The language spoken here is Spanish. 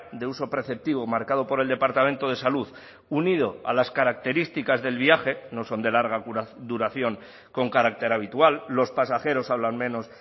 de uso preceptivo marcado por el departamento de salud unido a las características del viaje no son de larga duración con carácter habitual los pasajeros hablan menos